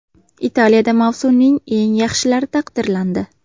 Italiyada mavsuming eng yaxshilari taqdirlandi.